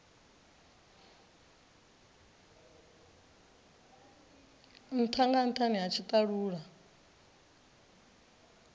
ntha nga nthani ha tshitalula